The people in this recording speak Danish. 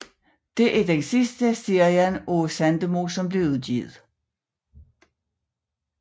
Det er den sidste serie af Sandemo som blev udgivet